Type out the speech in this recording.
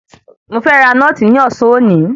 Mo fẹ́ ra nọ́ọ̀tì ní ọ̀sán òní.